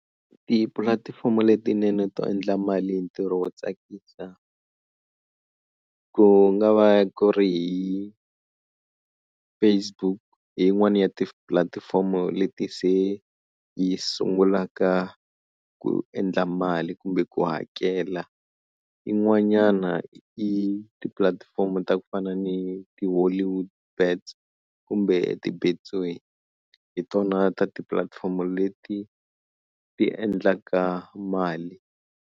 Tipulatifomo letinene to endla mali hi ntirho wo tsakisa ku nga va ku ri hi Facebook hi yin'wana ya tipulatifomo leti se yi sungulaka ku endla mali kumbe ku hakela yin'wanyana i tipulatifomo ta ku fana ni ti-Hollywood bets kumbe ti-Betway, hi tona ta tipulatifomo leti ti endlaka mali.